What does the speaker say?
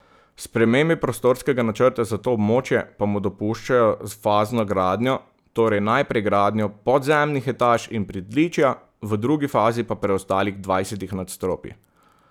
Spremembe prostorskega načrta za to območje pa mu dopuščajo fazno gradnjo, torej najprej gradnjo podzemnih etaž in pritličja, v drugi fazi pa preostalih dvajsetih nadstropij.